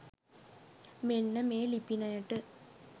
මෙන්න මේ ලිපිනයට.